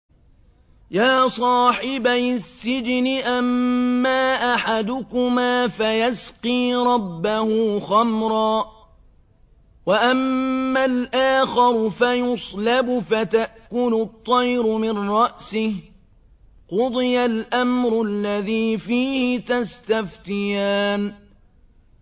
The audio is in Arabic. يَا صَاحِبَيِ السِّجْنِ أَمَّا أَحَدُكُمَا فَيَسْقِي رَبَّهُ خَمْرًا ۖ وَأَمَّا الْآخَرُ فَيُصْلَبُ فَتَأْكُلُ الطَّيْرُ مِن رَّأْسِهِ ۚ قُضِيَ الْأَمْرُ الَّذِي فِيهِ تَسْتَفْتِيَانِ